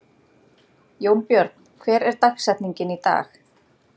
Jónbjörn, hver er dagsetningin í dag?